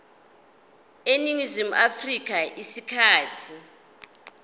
eningizimu afrika isikhathi